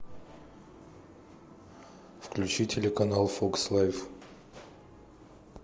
включи телеканал фокс лайф